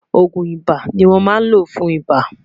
ògún ibà ní wón má ló fún ibà